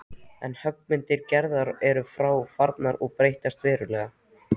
En höggmyndir Gerðar eru þá farnar að breytast verulega.